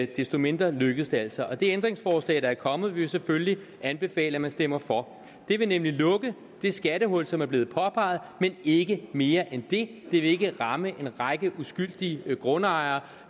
desto mindre lykkedes det altså og de ændringsforslag der er kommet vil vi selvfølgelig anbefale at man stemmer for de vil nemlig lukke det skattehul som er blevet påpeget men ikke mere end det vil ikke ramme en række uskyldige grundejere